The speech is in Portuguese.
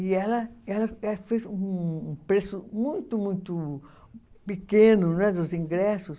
E ela ela fez um preço muito, muito pequeno não é dos ingressos.